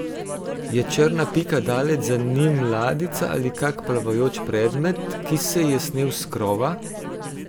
Je črna pika daleč za njim ladjica ali kak plavajoč predmet, ki se je snel s krova?